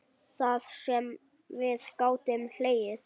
Það sem við gátum hlegið.